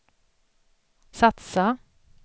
satsa